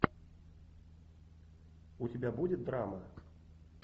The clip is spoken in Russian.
у тебя будет драма